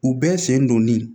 U bɛɛ sen donnen